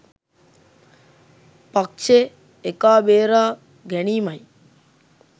පක්ෂෙ එකා බේරා ගැනීමයි.